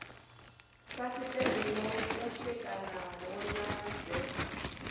fasiṱere ḓo pwashekanaho ḽa z